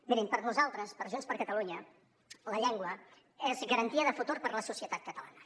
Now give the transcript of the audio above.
mirin per nosaltres per junts per catalunya la llengua és garantia de futur per a la societat catalana